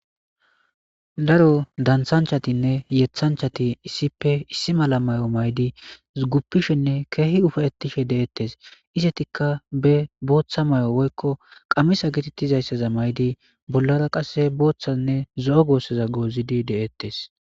Daro dansanchatinne yethanchati issippe issi mala may'o maydi guppishenne keehi ufe ettishe deettes isetikka be booththa may'o woykko qammisa gitittizayssaza maydi bollara qasse booththanne zo'o goosseza goozidi de'ettes